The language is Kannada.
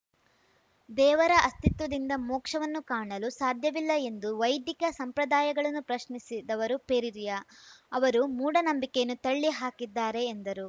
ದೇವರ ಅಸ್ತಿತ್ವದಿಂದ ಮೋಕ್ಷವನ್ನು ಕಾಣಲು ಸಾಧ್ಯವಿಲ್ಲ ಎಂದು ವೈದಿಕ ಸಂಪ್ರದಾಯಗಳನ್ನು ಪ್ರಶ್ನಿಸಿದವರು ಪೆರಿರಿಯಾ ಅವರು ಮೂಢನಂಬಿಕೆಯನ್ನು ತಳ್ಳಿ ಹಾಕಿದ್ದಾರೆ ಎಂದರು